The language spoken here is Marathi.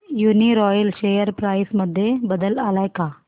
यूनीरॉयल शेअर प्राइस मध्ये बदल आलाय का